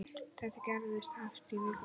Þetta gerðist oft í viku.